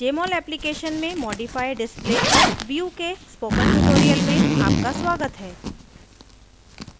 jmol application में modify display और view के स्पोकन tutorial में आपका स्वागत है